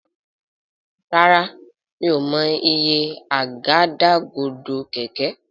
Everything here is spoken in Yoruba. Ràrá mi'o mọ iye Àgádágodo kẹ̀kẹ́.